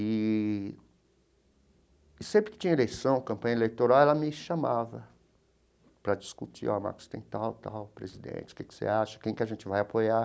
Eee e sempre que tinha eleição, campanha eleitoral, ela me chamava para discutir, ó, Marcos tem tal, tal, presidente, o que você acha, quem que a gente vai apoiar.